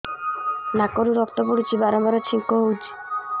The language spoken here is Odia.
ନାକରୁ ରକ୍ତ ପଡୁଛି ବାରମ୍ବାର ଛିଙ୍କ ହଉଚି